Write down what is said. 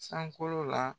Sankolo la